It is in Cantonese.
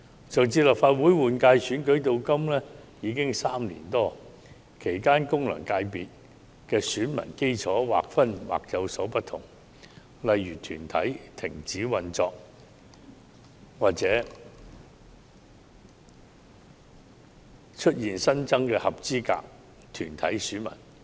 自上次立法會換屆選舉至今已有3年多，其間功能界別選民基礎的劃分或已有所不同，例如某些團體停止運作或出現新增的合資格團體選民。